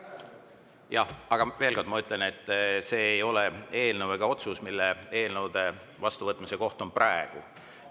Jah, aga ma veel kord ütlen, et see ei ole ega otsus, mille eelnõude vastuvõtmise koht on praegu siin.